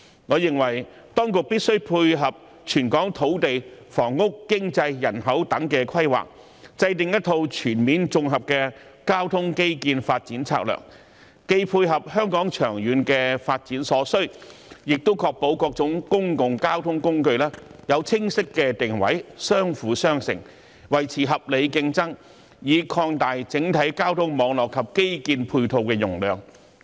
我認為當局必須配合全港土地、房屋、經濟、人口等規劃，制訂一套全面的綜合交通基建發展策略，既配合香港長遠發展所需，亦確保各種公共交通工具有清晰定位，相輔相成，維持合理競爭，以擴大整體交通網絡及基建配套容量。